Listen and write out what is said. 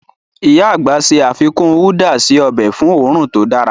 Íyá àgbà ṣe àfikún údà si ọbẹ̀ fun õrùn to dára.